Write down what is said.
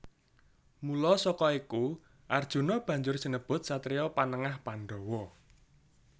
Mula saka iku Arjuna banjur sinebut satriya Panengah Pandhawa